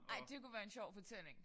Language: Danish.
Ej det kunne være en sjov fortælling